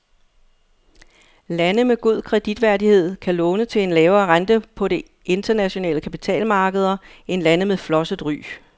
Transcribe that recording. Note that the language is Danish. Lande med god kreditværdighed kan låne til en lavere rente på de internationale kapitalmarkeder end lande med flosset ry.